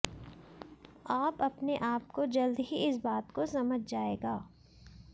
आप अपने आप को जल्द ही इस बात को समझ जाएगा